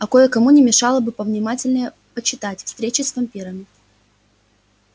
а кое-кому не мешало бы повнимательнее почитать встречи с вампирами